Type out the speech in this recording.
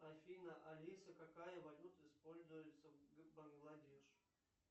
афина алиса какая валюта используется в бангладеш